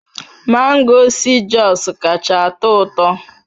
Mango si Jos kacha atọ ụtọ